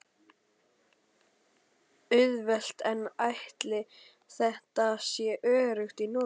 Auðvelt en ætli þetta sé öruggt í notkun?